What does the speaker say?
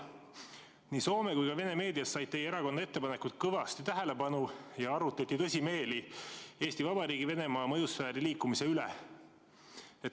Nii Soome kui ka Vene meedias said teie erakonna ettepanekud kõvasti tähelepanu ja arutleti tõsimeeli Eesti Vabariigi Venemaa mõjusfääri liikumise üle.